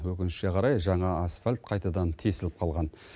өкінішке қарай жаңа асфальт қайтадан тесіліп қалған